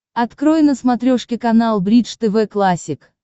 открой на смотрешке канал бридж тв классик